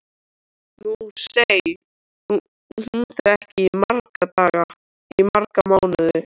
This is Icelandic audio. Nú sæi hún þau ekki í marga mánuði.